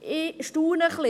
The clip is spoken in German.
Ich staune etwas.